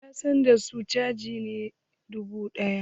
Yansandan sun caje ni nera dubu ɗaya.